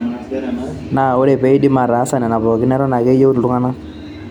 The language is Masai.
Naa ore peidim aataasa nena pookin, eton ake eyieu iltungana.